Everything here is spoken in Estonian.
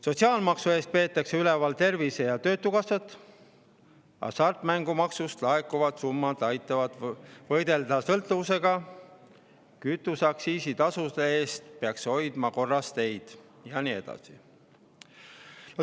Sotsiaalmaksu eest peetakse üleval tervise‑ ja töötukassat, hasartmängumaksust laekuvad summad aitavad võidelda sõltuvusega, kütuseaktsiisi eest peaks hoidma korras teid ja nii edasi.